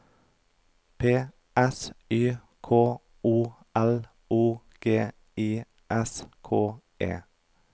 P S Y K O L O G I S K E